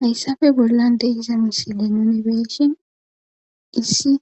hayssafe bollan deiza misile nonebeshin issi